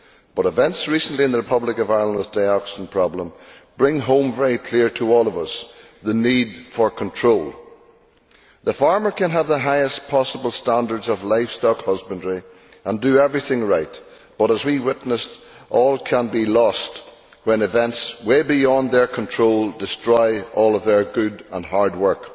However, recent events in the Republic of Ireland, with the dioxin problem, bring home very clearly to all of us the need for control. Farmers can have the highest possible standards of livestock husbandry and do everything right but, as we have witnessed, all can be lost when events way beyond their control destroy all their good and hard work.